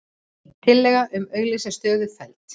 Tillaga um að auglýsa stöðu felld